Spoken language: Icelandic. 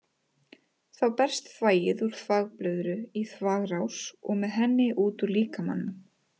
Þá berst þvagið úr þvagblöðru í þvagrás og með henni út úr líkamanum.